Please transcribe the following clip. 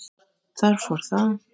Þar fór það.